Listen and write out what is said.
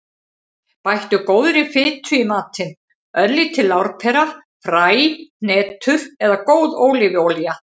Bættu góðri fitu í matinn; örlítil lárpera, fræ, hnetur eða góð ólífuolía.